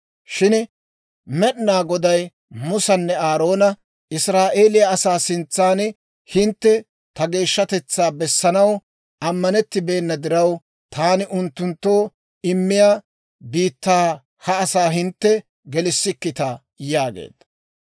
Shin Med'inaa Goday Musanne Aaroona, «Israa'eeliyaa asaa sintsan hintte ta geeshshatetsaa bessanaw ammanettibeenna diraw, taani unttunttoo immiyaa biittaa ha asaa hintte gelissikkita» yaageedda.